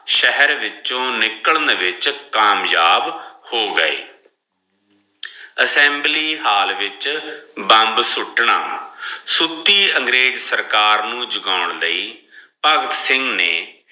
ਸ਼ਹਰ ਵਿੱਚੋ ਨਿਕਲਣ ਲਗੇ ਹੋ ਗਾਏ assembly hall ਵਿਚ bomb ਸੁਟਣਾ, ਸੁਤੀ ਅੰਗਰੇਜ ਸਰਕਾਰ ਨੂੰ ਜਗਾਉਣ ਲਈ ਭਗਤ ਸਿੰਘ ਨੇ